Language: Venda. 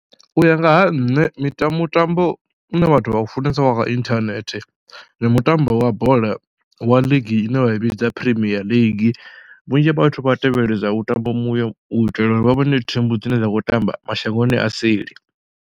U ya nga ha nṋe miṱa mutambo une vhathu vha funesa wa kha inthanethe ndi mutambo wa bola wa league ine vha i vhidza Primea League, vhunzhi vhathu vha tevheledza u mutambo uyo u itela uri vha vhone thimu dzine dza khou tamba mashangoni a seli.